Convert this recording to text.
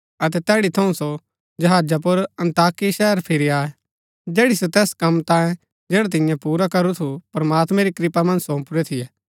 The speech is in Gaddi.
अतै तैड़ी थऊँ सो जहाजा पुर अन्ताकिया शहरा फिरी आये जैड़ी सो तैस कम तांयें जैडा तिन्ये पुरा करू थु प्रमात्मैं री कृपा मन्ज सोंपुरै थियै